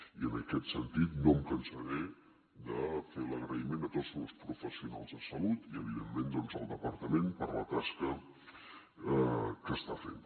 i en aquest sentit no em cansaré de fer l’agraïment a tots els professionals de salut i evidentment doncs al departament per la tasca que està fent